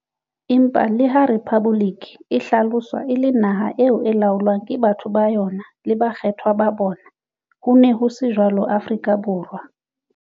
Empa le ha 'rephaboliki' e hlaloswa e le naha eo e laolwang ke batho ba yona le bakgethwa ba bona, hone ho se jwalo Afrika Borwa.